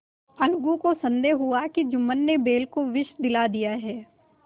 अलगू को संदेह हुआ कि जुम्मन ने बैल को विष दिला दिया है